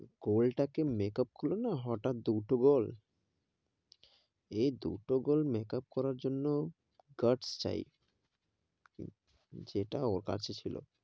তাকে makeup করলো না হটাত দুটো গোল এই দুটো গোল makeup করার জন্য, guts চাই, যেটা ওর কাছে ছিল,